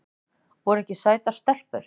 Voru ekki sætar stelpur?